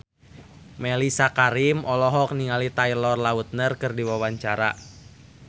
Mellisa Karim olohok ningali Taylor Lautner keur diwawancara